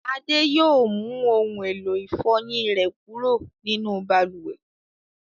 Adé yóò mú ohun-èlò ìfọyín rẹ̀ kúrò nínú balùwẹ̀.